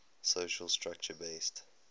social structure based